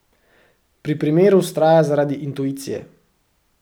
Pri primeru vztraja zaradi intuicije.